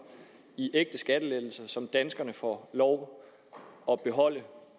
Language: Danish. i ægte skattelettelser som danskerne får lov at beholde